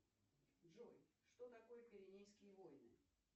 джой что такое пиренейские войны